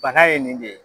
Bana ye nin de ye